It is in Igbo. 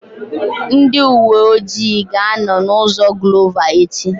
Ndị uwe ọjị ga-anọ na ụzọ Glova echi